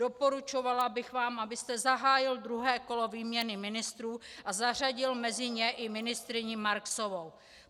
Doporučovala bych vám, abyste zahájil druhé kolo výměny ministrů a zařadil mezi ně i ministryni Marksovou.